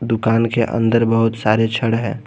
दुकान के अंदर बहुत सारे छड़ है।